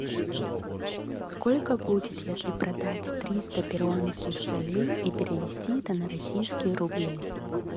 сколько будет если продать триста перуанских солей и перевести это на российские рубли